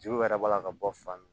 Juw yɛrɛ b'a la ka bɔ fan mun